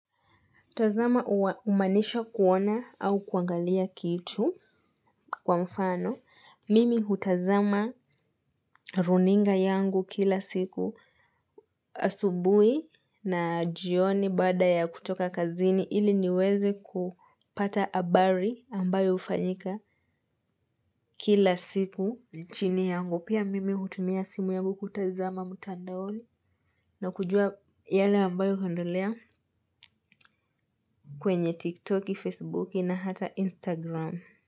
Tazama umanisha kuona au kuangalia kitu kwa mfano. Mimi hutazama runinga yangu kila siku asubui na jioni baada ya kutoka kazini ili niweze kupata habari ambayo hufanyika kila siku. Chini yangu pia mimi hutumia simu yangu kutazama mutandaoni na kujua yale ambayo huendelea kwenye tiktoki, facebooki na hata instagram.